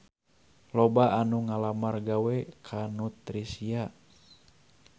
Loba anu ngalamar gawe ka Nutricia